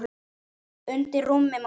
Undir rúmi mátti sjá.